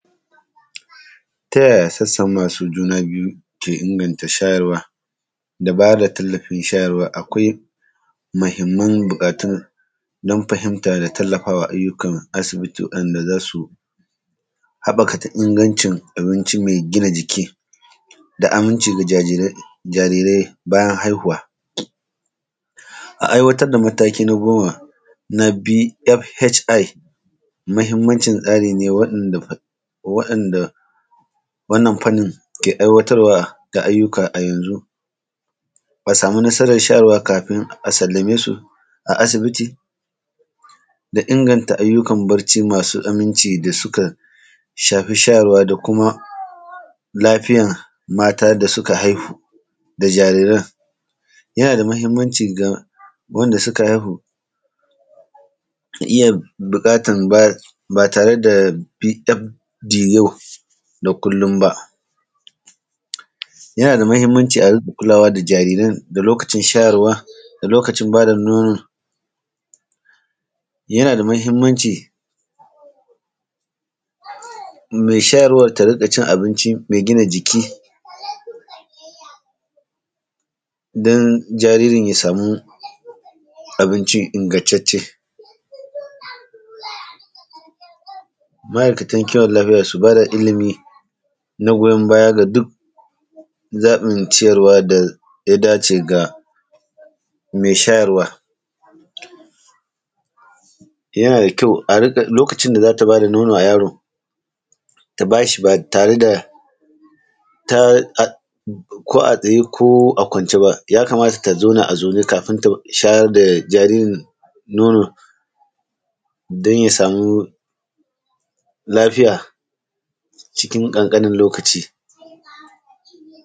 Ta yaya sassan masu juna biyu ke inganta shayarwa, da ba da tallafin shayarwa? Akwai muhimman buƙatun don fahimta da tallafa wa ayyukan asibiti waɗanda za su haɓakata ingancin abinci mai gina jiki da aminci ga jarirai, jarirai bayan haihuwa. A aiwatar da mataki na goma na B.F.H.I, muhimmancin tsari ne waɗanda, waɗanda wannan fannin ke aiwatarwa da ayyuka a yanzu, a samu nasarar shayarwa kafin a sallame su a asibiti da inganta ayyukan barci masu aminci da suka shafi shayarwa da kuma lafiyar mata da suka haihu da jariran. Yana da muhimmanci ga wanda suka haihu ta iya buƙatan ba, ba tare da B.F.D yau da kullum ba. Yana da muhimmanci a riƙa kulawa da jariran da lokacin shayarwa da lokacin ba da nono. Yana da muhimmanci mai shayarwar ta riƙa cin abinci mai gina jiki don jaririn ya samu abinci ingantacce. Ma’aikatan kiwon lafiya su ba da ilimi na goyon baya ga duk zaɓin ciyarwa da ya dace ga mai shayarwa. Yana da kyau a riƙa, lokacin da za ta ba da nono a yaro ta ba shi ba tare da ta ko a tsaye ko a kwance ba, ya kamata ta zauna a zaune kafin ta shayar da jaririn nono don ya samu lafiya cikin ƙanƙanin lokaci.